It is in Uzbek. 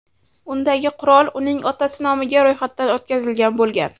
Undagi qurol uning otasi nomiga ro‘yxatdan o‘tkazilgan bo‘lgan.